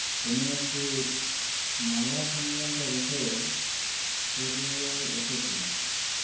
তিনি একটি মামলা সংক্রান্ত বিষয়ে পুরুলিয়ায় এসেছিলেন